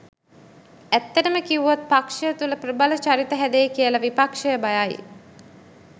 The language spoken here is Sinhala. ඇත්තටම කිව්වොත් පක්ෂය තුළ ප්‍රබල චරිත හැදෙයි කියලා විපක්ෂය බයයි.